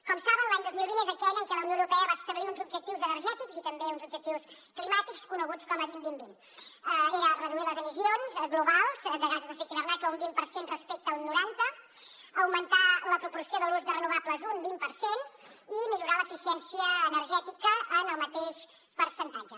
com saben l’any dos mil vint és aquell per al que la unió europea va establir uns objectius energètics i també uns objectius climàtics coneguts com a vint vint vint que eren reduir les emissions globals de gasos d’efecte hivernacle un vint per cent respecte al noranta augmentar la proporció de l’ús de renovables un vint per cent i millorar l’eficiència energètica en el mateix percentatge